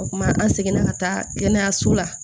O kuma an seginna ka taa kɛnɛyaso la